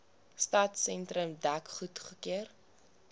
stadsentrum dek goedgekeur